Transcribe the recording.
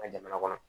An ka jamana kɔnɔ